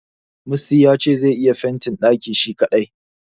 Musty ya ce zai iya fentin ɗakin shi kadai.